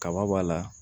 Kaba b'a la